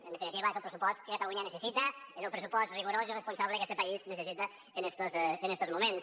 en definitiva és el pressupost que catalunya necessita és el pressupost rigorós i responsable que este país necessita en estos moments